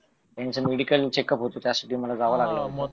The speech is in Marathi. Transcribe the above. त्यांचं मेडिकल आणि चेकअप होत त्यासाठी मला जावं लागलं